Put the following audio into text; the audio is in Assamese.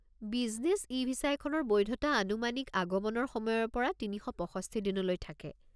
বিজনেছ ই-ভিছা এখনৰ বৈধতা আনুমানিক আগমনৰ সময়ৰ পৰা ৩৬৫ দিনলৈ থাকে।